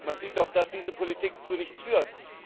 Man sieht doch, dass diese Politik zu nichts führt!